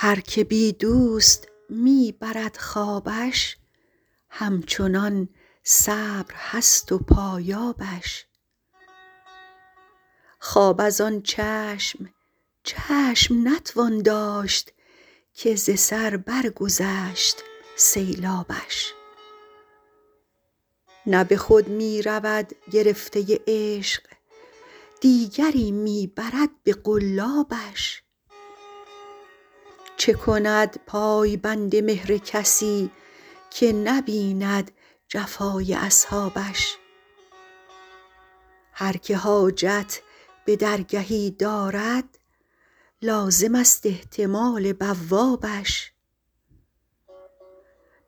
هر که بی دوست می برد خوابش همچنان صبر هست و پایابش خواب از آن چشم چشم نتوان داشت که ز سر برگذشت سیلابش نه به خود می رود گرفته عشق دیگری می برد به قلابش چه کند پای بند مهر کسی که نبیند جفای اصحابش هر که حاجت به درگهی دارد لازمست احتمال بوابش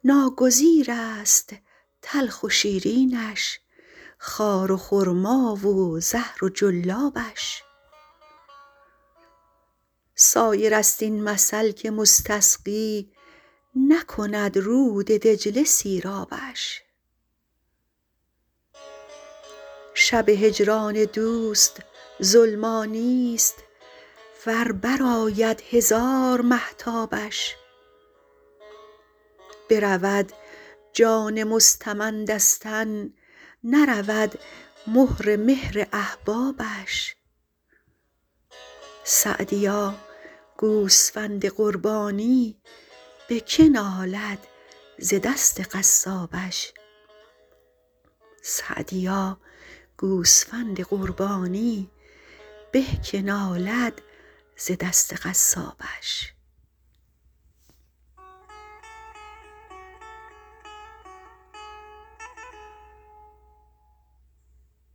ناگزیرست تلخ و شیرینش خار و خرما و زهر و جلابش سایرست این مثل که مستسقی نکند رود دجله سیرابش شب هجران دوست ظلمانیست ور برآید هزار مهتابش برود جان مستمند از تن نرود مهر مهر احبابش سعدیا گوسفند قربانی به که نالد ز دست قصابش